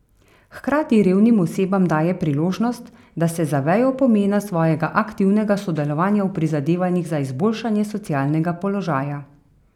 Hkrati revnim osebam daje priložnost, da se zavejo pomena svojega aktivnega sodelovanja v prizadevanjih za izboljšanje socialnega položaja.